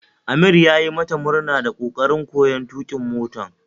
Amir yayi mata murna da kokarin koyon tukin mota